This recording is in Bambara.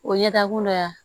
O ye ɲɛda kolo ye yan